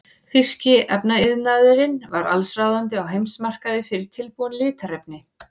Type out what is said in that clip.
Þýski efnaiðnaðurinn var allsráðandi á heimsmarkaði fyrir tilbúin litarefni.